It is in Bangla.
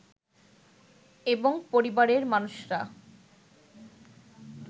এবং পরিবারের মানুষরা